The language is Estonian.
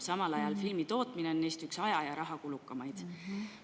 Samal ajal on filmitootmine üks aja‑ ja rahakulukamaid.